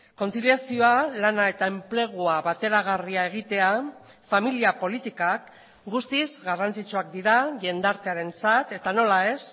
kontziliazioa lana eta enplegua bateragarria egitea familia politikak guztiz garrantzitsuak dira jendartearentzat eta nola ez